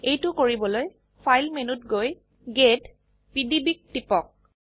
এইটো কৰিবলৈ ফাইল মেনুত গৈ গেট পিডিবি ত টিপক